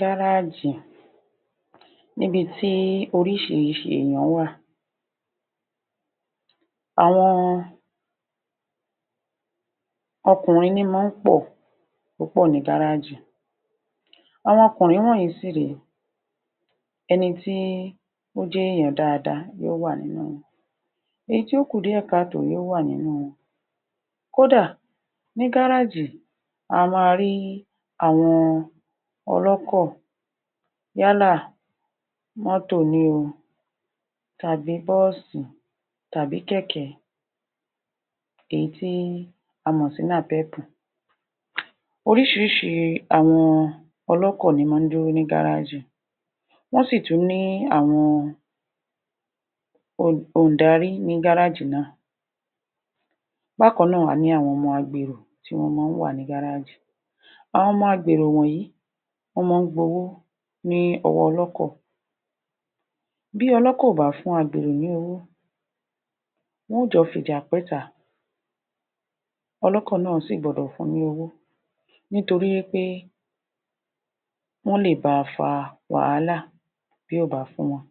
gáráájì níbi tí oríṣiríṣi èèyàn wà àwọn ọkùnrin ní í máa ń pọ̀ púpọ̀ ní gáráájì àwọn ọkùrin náà sì rè é ẹni tí ó jẹ́ èèyàn dáadáa ló wà nínú wọn èyí tí ó kù díẹ̀ ká tòó yó wà nínú wọn kó dà, ní gárájì a máa rí àwọn ọlọ́kọ̀ yálà mọ́tò ni o tàbí bọ́ọ̀sì tàbí kẹ̀kẹ́ èyí tí a mọ̀ sí napep orísiríṣi àwọn ọlọ́kọ̀ ló máa ń dúró ní gárájì wọ́n sì tún ní àwọn òǹdarí ní gárájì náà bákan náà, a ní àwọn ọmọ agbèrò tí wọ́n máa ń wà ní gárájì àwọn ọmọ agbèrò wọ̀nyí wọ́n máa ń gba owó lọ́wọ́ ọlọ́kọ̀ bí ọlọ́kọ̀ kò bá fún agbèrò ní owó wọn ó jọ fi ìjà pẹ́ta ọlọ́kọ̀ náà sì gbọdọ̀ fun ní owó nítorí wí pé wọ́n lè ba fa wàhálà bí kò bá fún wọn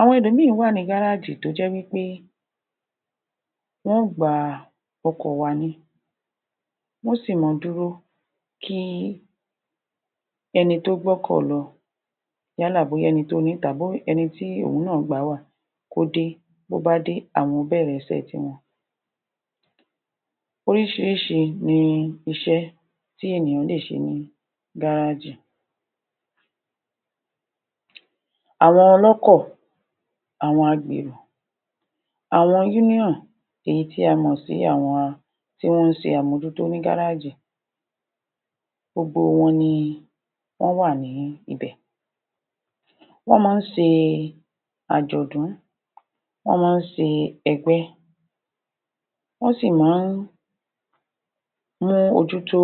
àwọn ẹlòmíì wà ní gárájì tó jẹ́ wí pé wọn ó gba ọkọ̀ wà ni wọ́n sì máa dúró kí ẹni tó gbọ́kọ̀ lọ yálà bóyá ẹni tó ní tàbí ẹni tí òun náà gbà á wà, kó dé bí ó bá dé àwọn ó bẹ̀rẹ̀ iṣẹ́ tiwọn oríṣiríṣi ni iṣẹ́ tí ènìyàn lè ṣe ní gárájì àwọn ọlọ́kọ̀, àwọn agbèrò, àwọn union èyí tí a mọ̀ sí àwọn tí ó ń ṣe àmójútó ní gárájì gbogbo wọn ni wọ́n wà ní ibẹ̀ wọ́n máa ń ṣe àjọ̀dún, wọ́n máa ń ṣe ẹgbẹ́ wọ́n sì máa ń mú ojú tó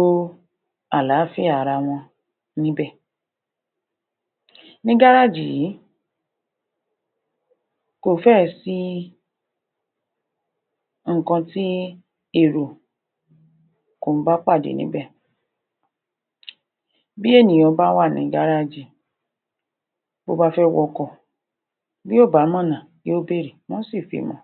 àláfíà ara wọn níbẹ̀ ní gárájì yìí, kò fẹ́ẹ̀ sí nǹkan tí èrò kò ń bá pàdé níbẹ̀ bí ènìyàn bá wà ní gárájì bó bá fẹ́ wọ ọkọ̀ bí kò bá mọ ọ̀nà yóò bèrè wọ́n ó sì fi hàn an